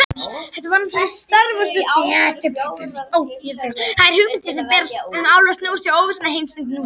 Þær hugmyndir sem hæst ber um álfa snúast um óvissuna í heimsmynd nútímans.